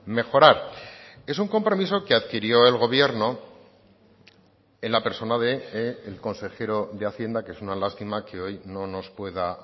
mejorar es un compromiso que adquirió el gobierno en la persona del consejero de hacienda que es una lástima que hoy no nos pueda